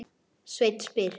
Sveinn spyr: